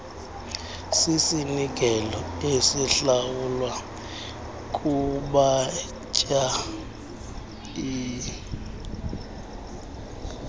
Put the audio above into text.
sisinikelo esihlawulwa kubatyai